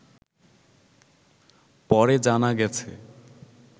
পরে জানা গেছে